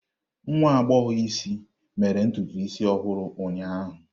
Nwa agbọghọ isi mere ntutu isi ọhụrụ ụnyaahụ.